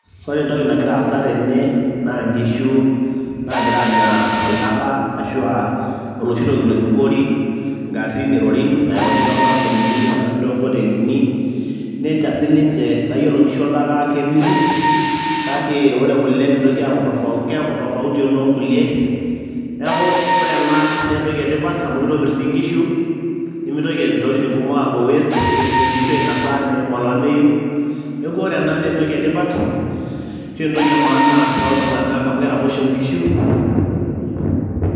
ore entoki nagira aasa tene naa nkishu nagira aanya oltaka ashua oloshi toki loibukori ingarrin irorin nayauni tonkampunini nayauni tonkotelini nencha siniche nayiolo inkishu oltaka kepiru kake ore kule mitoki aaku, keeku tofauti ononkulie neeku ore ena naa entoki etipat amu kitopirr sii inkishu nemitoki intokitin kumok apuo waste ketumoki inkishu ainosa neim olameyu neeku ore ena naa entoki etipat ashu entoki e maana toltung'anak amu keraposho inkishu netum iltung'anak iropiyiani.